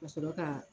Ka sɔrɔ ka